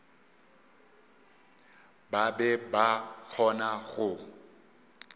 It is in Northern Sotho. ba be ba kgona go